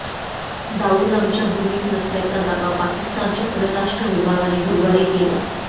दाऊद आमच्या भूमीत नसल्याचा दावा पाकिस्तानच्या परराष्ट्र विभागाने गुरूवारी केला